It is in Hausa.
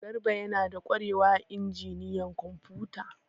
Garba yana da kwarewa a injiniyan kwamfuta.